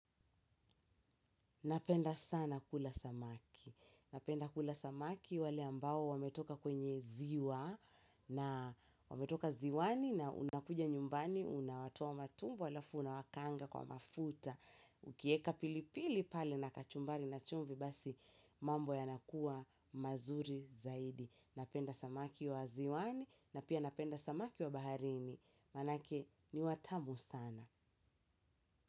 Napenda sana kula samaki. Napenda kula samaki wale ambao wametoka kwenye ziwa na wametoka ziwani na unakuja nyumbani, unawatoa matumbo, alafu na wakanga kwa mafuta. Ukieka pili pili pale na kachumbari na chumvi basi mambo yanakuwa mazuri zaidi. Napenda samaki wa ziwani na pia napenda samaki wa baharini. Manake ni watamu sana.